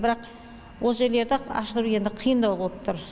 бірақ ол жерлерді аштыру енді қиындау болып тұр